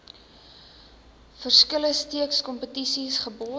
verskillende streekskompetisies geborg